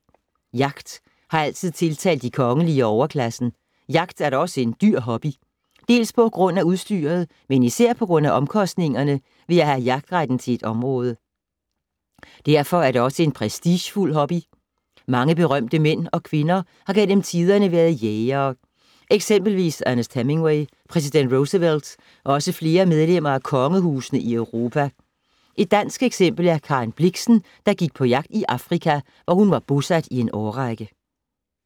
Jagt har altid tiltalt de kongelige og overklassen. Jagt er da også en dyr hobby. Dels på grund af udstyret, men især på grund af omkostningerne ved at have jagtretten til et område. Derfor er det også en prestigefuld hobby. Mange berømte mænd og kvinder har gennem tiderne været jægere. Eksempelvis Ernest Hemingway, præsident Roosevelt og også flere medlemmer af kongehusene i Europa. Et dansk eksempel er Karen Blixen, der gik på jagt i Afrika, hvor hun var bosat i en årrække.